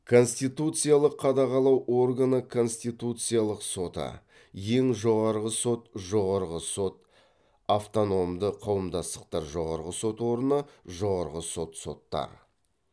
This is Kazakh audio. конституциялық қадағалау органы конституциялық соты ең жоғарғы сот жоғарғы сот автономды қауымдастықтар жоғарғы сот органы жоғарғы сот соттар